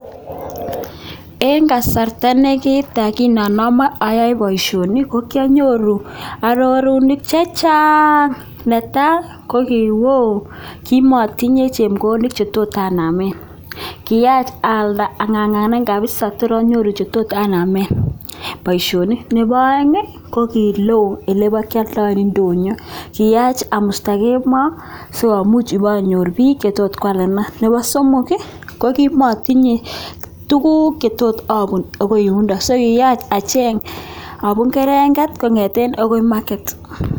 en kasarta ne kitaa kin anomi boishoni kokianyoruu arorutik chechaang neta kokiwoo kimotinye chepkondok chetot anamen kiyaach alda aborjikee kapisa kotor anyoruu chetot anamen boishoni nepo oeng kokiloo ndonyo elepokioldoen kiyach amusta kemoo sikomuch iponyor biik chetot kwalenan nepo somok ii kokimotinye tuguk chetot obun agoi yundo so kiyach acheng abun keldo kongeten yuu agoi ndonyo